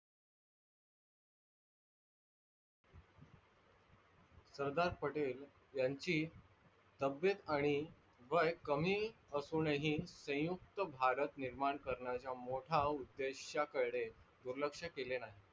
सरदार पटेल यांची तब्यथ आणि वय कमी असूनन ही सयुक्त भारत निर्माण करण्याचा मोठ्या उदेश्या कडे दूरलक्ष केले नाही.